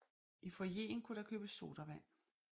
I foyeren kunne der købes sodavand